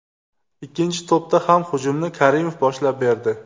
Ikkinchi to‘pda ham hujumni Karimov boshlab berdi.